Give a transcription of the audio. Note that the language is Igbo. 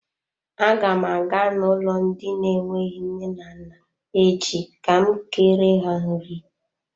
Aga m aga n'ụlọ ndị na-enweghị nne na nna echi ka m kere ha nri.